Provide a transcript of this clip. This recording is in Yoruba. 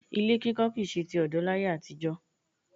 Ilé kíkọ kì í ṣe ti ọ̀dọ́ láyé àtijọ́